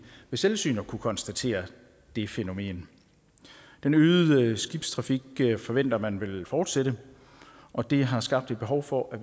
ved selvsyn har kunnet konstatere det fænomen den øgede skibstrafik forventer man vil fortsætte og det har skabt behov for at